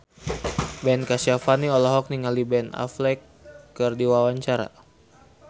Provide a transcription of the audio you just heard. Ben Kasyafani olohok ningali Ben Affleck keur diwawancara